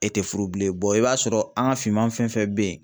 E tɛ furu bilen i b'a sɔrɔ an ka finman fɛn fɛn bɛ yen